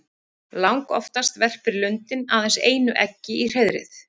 Langoftast verpir lundinn aðeins einu eggi í hreiðrið.